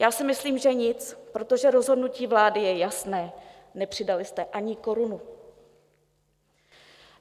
Já si myslím, že nic, protože rozhodnutí vlády je jasné, nepřidali jste ani korunu.